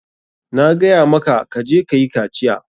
Na gaya maka ka je kayi kaciya.